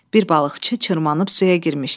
Bir balıqçı çırmanıb suya girmişdi.